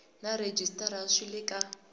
na rhejisitara swi le ka